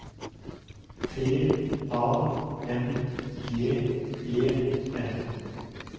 T A N G E N